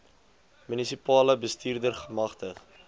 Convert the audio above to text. munisipale bestuurder gemagtig